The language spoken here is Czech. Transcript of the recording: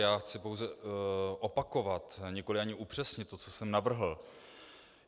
Já chci pouze opakovat, nikoli ani upřesnit, to, co jsem navrhl.